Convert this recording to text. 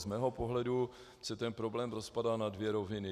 Z mého pohledu se ten problém rozpadá na dvě roviny.